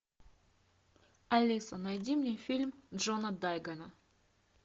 алиса найди мне фильм джона дайгана